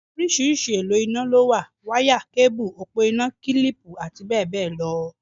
Oríṣiríṣi èlò iná lówà; wáyà, kébù, òpó iná, kílìpù àti bẹ́ẹ̀ bẹ́ẹ̀ lọ.